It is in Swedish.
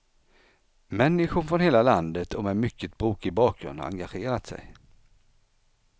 Människor från hela landet och med mycket brokig bakgrund har engagerat sig.